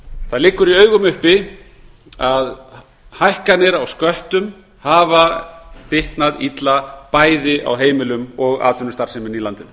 það liggur í augum uppi að hækkanir á sköttum hafa bitnað illa bæði á heimilunum og atvinnulífinu í landinu